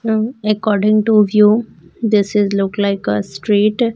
Um according to view this is look like a street.